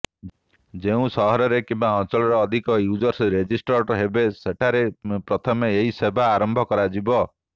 ଯେଉଁ ସହରରେ କିମ୍ବା ଅଞ୍ଚଳରେ ଅଧିକ ୟୁଜର୍ସ ରେଜିଷ୍ଟର୍ଡ ହେବେ ସେଠାରେ ପ୍ରଥମେ ଏହି ସେବା ଆରମ୍ଭ କରାଯିବ